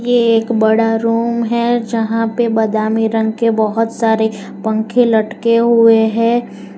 ये एक बड़ा रूम है जहां पे बादामी रंग के बहोत सारे पंखे लटके हुए हैं।